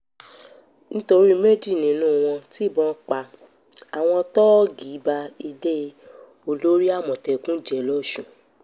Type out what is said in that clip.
nítorí méjì nínú wọn tibọn pa àwọn tóógi ba ilé olórí àmọ̀tẹ́kùn jẹ́ lọ́sùn